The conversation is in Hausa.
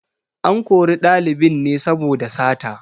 An kori ɗalibin ne saboda sata.